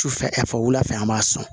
Sufɛ ɛf wula fɛ an b'a sɔn